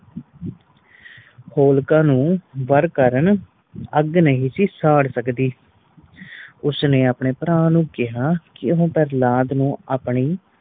ਹੋਲਕਾ ਨੂੰ ਵਾਰ ਕਾਰਨ ਆਗ ਨਹੀਂ ਸੀ ਸਾੜ ਸਕਦੀ ਉਸ ਨੇ ਆਪਣੇ ਭਰਾ ਨੂੰ ਕਿਹਾ ਕਿ ਉਹ ਪ੍ਰਹਲਾਦ ਨੂੰ ਆਪਣੀ